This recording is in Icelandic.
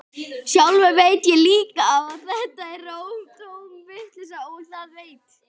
Sjálfur veit ég líka að þetta er tóm vitleysa, og það veit